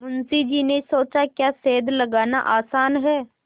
मुंशी जी ने सोचाक्या सेंध लगाना आसान है